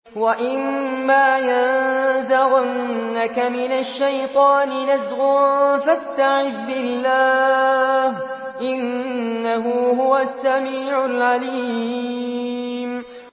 وَإِمَّا يَنزَغَنَّكَ مِنَ الشَّيْطَانِ نَزْغٌ فَاسْتَعِذْ بِاللَّهِ ۖ إِنَّهُ هُوَ السَّمِيعُ الْعَلِيمُ